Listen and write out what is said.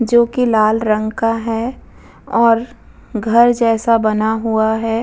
जो की लाल रंग का है और घर जैसा बना हुआ है।